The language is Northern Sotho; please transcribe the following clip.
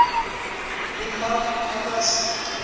le mang a ka se